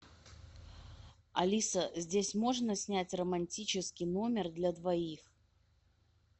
алиса здесь можно снять романтический номер для двоих